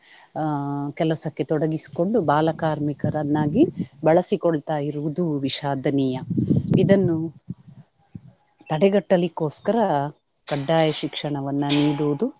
ಆಹ್ ಕೆಲಸಕ್ಕೆ ತೊಡಗಿಸಿಕೊಂಡು ಬಾಲಕಾರ್ಮಿಕರನ್ನಾಗಿ ಬಳಸಿಕೊಳ್ತಾಯಿರುವುದು ವಿಷಾದನೀಯ. ಇದನ್ನು ತಡೆಗಟ್ಟಲಿಕೊಸ್ಕರ ಖಡ್ಡಾಯ ಶಿಕ್ಷಣವನ್ನು ನೀಡುವುದು